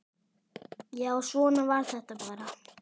Já, svona var þetta bara.